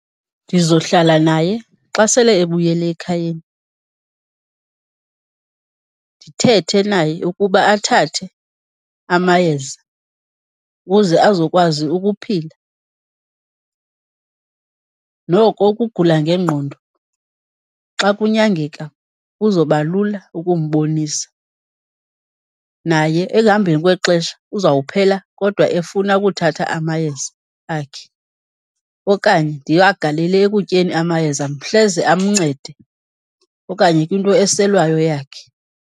Ndizohlala naye xa sele ebuyele ekhayeni, ndithethe naye ukuba athathe amayeza ukuze azokwazi ukuphila. Noko ukugula ngengqondo xa kunyangeka kuzoba lula ukumbonisa, naye ekuhambeni kwexesha uzawuphela kodwa efuna ukuthatha amayeza akhe. Okanye ndiwagalele ekutyeni amayeza, hleze amncede, okanye kwinto eselwayo yakhe.